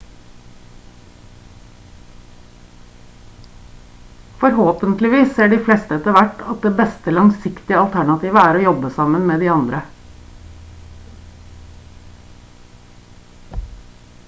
forhåpentligvis ser de fleste etter hvert at det beste langsiktige alternativet er å jobbe sammen med de andre